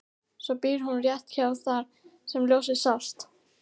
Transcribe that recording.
Svo býr hún rétt hjá þar sem ljósið sást.